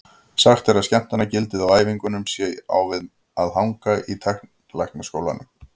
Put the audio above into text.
Sagt er að skemmtanagildið á æfingunum sé á við að hanga í tannlæknastólnum.